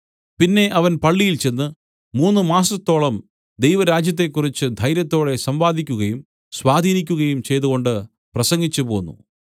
പിന്നെ അവൻ പള്ളിയിൽ ചെന്ന് മൂന്നു മാസത്തോളം ദൈവരാജ്യത്തെക്കുറിച്ച് ധൈര്യത്തോടെ സംവാദിക്കുകയും സ്വാധീനിക്കുകയും ചെയ്തുകൊണ്ട് പ്രസംഗിച്ചു പോന്നു